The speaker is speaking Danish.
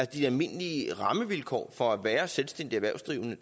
de almindelige rammevilkår for at være selvstændig erhvervsdrivende